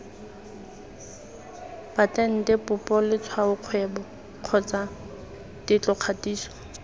patente popo letshwaokgwebo kgotsa tetlokgatiso